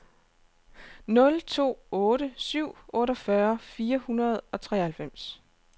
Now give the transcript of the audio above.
nul to otte syv otteogfyrre fire hundrede og treoghalvfems